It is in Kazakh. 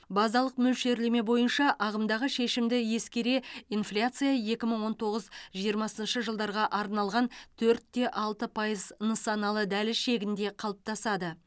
базалық мөлшерлеме бойынша ағымдағы шешімді ескере инфляция екі мың он тоғыз жиырмасыншы жылдарға арналған төртте алты пайыз нысаналы дәліз шегінде қалыптасады